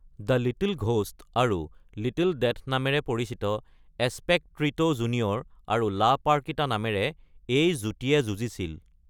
‘The little ghost’ আৰু ‘little death’ নামেৰে পৰিচিত এস্পেকট্ৰিটো জুনিয়ৰ আৰু লা পাৰ্কিতা নামেৰে এই যুটিয়ে যুঁজিছিল।